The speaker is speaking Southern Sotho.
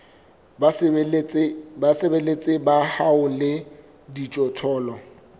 basebeletsi ba hao le dijothollo